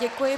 Děkuji.